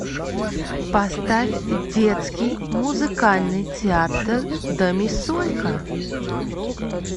поставь детский музыкальный театр домисолька